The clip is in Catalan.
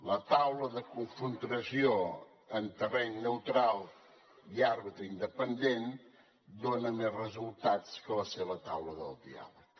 la taula de confrontació en terreny neutral i àrbitre independent dona més resultats que la seva taula de diàleg